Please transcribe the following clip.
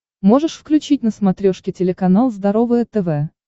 можешь включить на смотрешке телеканал здоровое тв